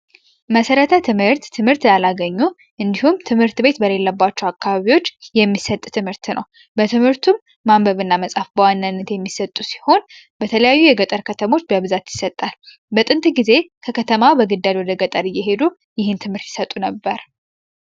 መሰረተ ትምህርት : ትምህርት ያላገኙ እንዲሁም ት/ቤት የሌለባቸዉ አካባቢወች የሚሰጥ ትምህርት ነዉ። በትምህርቱም ማንበብ እና መጻፍ በዋናነት የሚሰጡ ሲሆን በተለያየ የገጠር ከተሞች በብዛት ይሰጣል በጥንት ጊዜ ከከተማ በግዳጅ ወደገጠር እየሄዱ ይህን ትምህርት ይሰጡ ነበር።